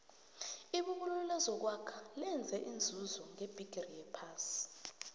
ibubulo lokwakha lenze inzuzo ngebhigiri yaphasi